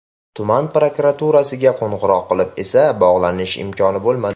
Tuman prokuraturasiga qo‘ng‘iroq qilib esa bog‘lanish imkoni bo‘lmadi.